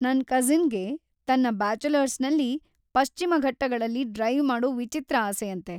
ನನ್‌ ಕಸಿನ್‌ಗೆ ತನ್ನ ಬ್ಯಾಚುಲರ್ಸ್‌ನಲ್ಲಿ ಪಶ್ಚಿಮ ಘಟ್ಟಗಳಲ್ಲಿ ಡ್ರೈವ್‌ ಮಾಡೋ ವಿಚಿತ್ರ ಆಸೆಯಂತೆ.